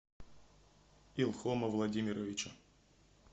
илхома владимировича